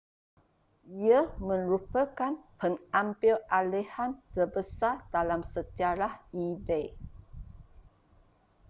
ia merupakan pengambilalihan terbesar dalam sejarah ebay